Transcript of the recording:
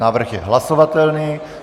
Návrh je hlasovatelný.